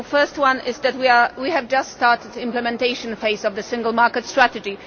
The first one is that we have just started the implementation phase of the single market strategy.